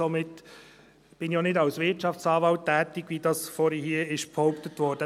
Somit bin ich auch nicht als Wirtschaftsanwalt tätig, wie vorhin hier behauptet wurde.